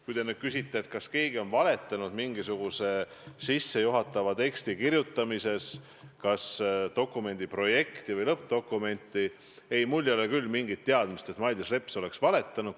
Kui te nüüd küsite, kas keegi on valetanud dokumendi projektile või lõppdokumendile mingisuguse sissejuhatava teksti kirjutamise kohta, siis ei, mul ei ole küll mingit teadmist, et Mailis Reps oleks valetanud.